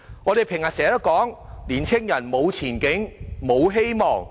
我們經常說，年青人無前景、無希望。